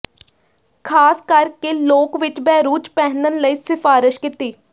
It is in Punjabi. ਖ਼ਾਸ ਕਰਕੇ ਲੋਕ ਵਿੱਚ ਬੈਰੁਜ਼ ਪਹਿਨਣ ਲਈ ਸਿਫਾਰਸ਼ ਕੀਤੀ